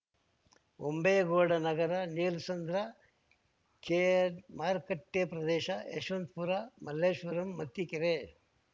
ಹೊಂಬೇಗೌಡ ನಗರ ನೀಲಸಂದ್ರ ಕೆಆರ್‌ಮಾರುಕಟ್ಟೆಪ್ರದೇಶ ಯಶವಂತಪುರ ಮಲ್ಲೇಶ್ವರಂ ಮತ್ತಿಕೆರೆ